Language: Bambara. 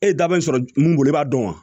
E ye daban sɔrɔ mun bolo i b'a dɔn wa